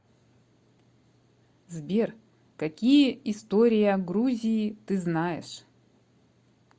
сбер какие история грузии ты знаешь